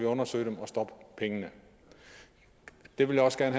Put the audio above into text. undersøge det og stoppe pengene det vil jeg også gerne